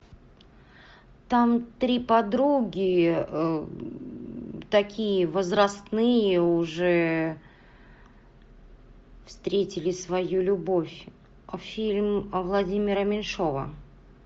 там три подруги такие возрастные уже встретили свою любовь фильм владимира меньшова